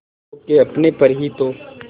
खो के अपने पर ही तो